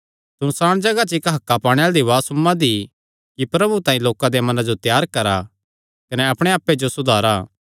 सुनसाण जगाह च इक्क हक्कां पाणे आल़े दी उआज़ सुम्मां दी कि प्रभु तांई लोकां देयां मनां जो त्यार करा कने अपणे आप्पे जो सुधारा